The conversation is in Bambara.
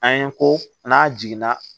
An ye ko n'a jiginna